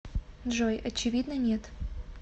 джой очевидно нет